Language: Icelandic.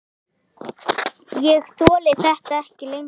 Ég þoli þetta ekki lengur.